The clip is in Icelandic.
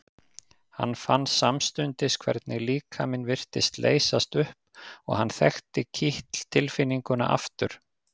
Hann fann samstundis hvernig líkaminn virtist leysast upp og hann þekkti kitl tilfinninguna aftur.